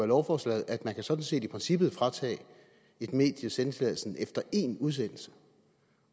lovforslaget at man jo sådan set i princippet kan fratage et medie sendetilladelsen efter én udsendelse